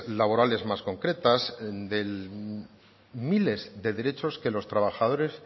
laborales más concretas de miles de derechos que los trabajadores